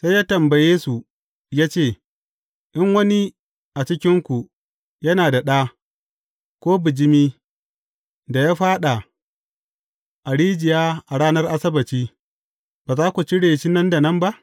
Sai ya tambaye, su ya ce, In wani a cikinku yana da ɗa, ko bijimi da ya faɗa a rijiya a ranar Asabbaci, ba za ku cire shi nan da nan ba?